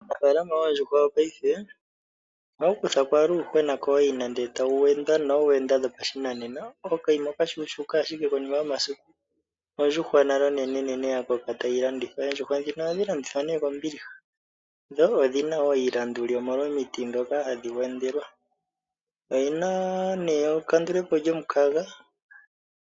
Uunafalaama yoondjuhwa paife ohawu kutha ko uuyuhwena kooyina e tawu wendwa noowenda dhopashinanena. Okayima okashuushuka, ihe konima yomasiku ondjuhwa nale onene tayi landithwa. Oondjuhwa ndhika ohadhi landithwa kombiliha, dho odhi na iilandulu, omolwa omiti ndhoka hadhi wendelwa. Odhi na ekandule po lyomukaga,